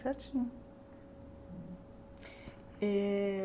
Certinho eh.